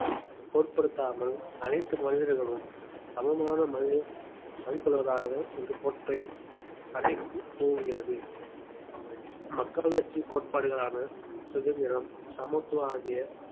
பொருட்படுத்தாமல் அனைத்து மனிதர்களும் சமமான மதிப்~ மதிப்புள்ளவராக இந்த கோட்பை அறைகூவுகிறது மக்களாட்சி கோட்பாடுகளான சுதந்திரம் சமத்துவம் ஆகிய